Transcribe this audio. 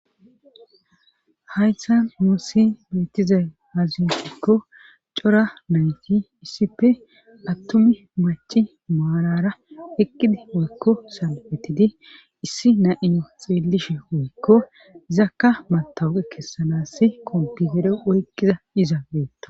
haystan muussi beettizay haziyeqikko cora nayti issippe attumi maci maarara eqqidi woykko salbetidi issi na7iyo xeellishe woykko izakka matawuqe kessanasi komputere oyqqiza iza beetto